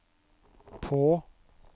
på